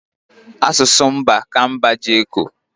Asụsụ mba ka mba ji eko